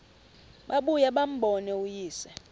babuye bambone uyise